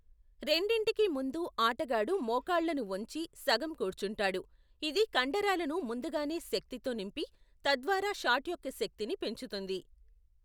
రెండింటికీ ముందు ఆటగాడు మోకాళ్ళను వంచి సగం కూర్చుంటాడు, ఇది కండరాలను ముందుగానే శక్తితో నింపి, తద్వారా షాట్ యొక్క శక్తిని పెంచుతుంది.